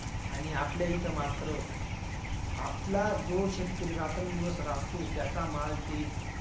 आणि आपल्या इथं मात्र आपला जो शेतकरी रात्रंदिवस राबतो, त्याचा माल ते